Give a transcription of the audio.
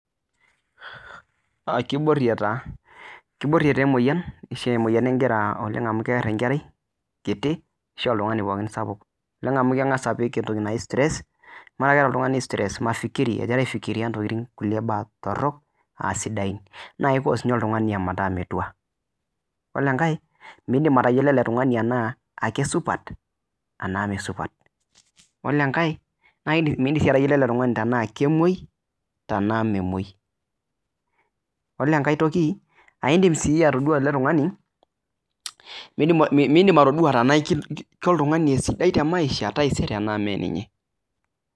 Kibori taa emoyian amu keer enkerai kiti ashu oltung'ani pookin sapuk amu kepiki oltung'ani [c]stress egira aifikiria nkulie tokitin torok naa kicause oltung'ani ometaa metua ore enkae midim atayiolo ele tung'ani tenaa kisupat tenaa mee supat ore enkae midim atayiolo ele tung'ani Tena kemuoi Tena memuoi ore enkae toki midim atodua tenaa oltung'ani sidai tee maisha taisere tenaa mee ninye